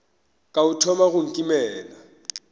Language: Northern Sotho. ka o thoma go nkimela